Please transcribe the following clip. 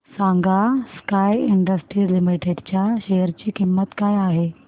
सांगा Sky Industries Limited च्या share ची किंमत काय आहे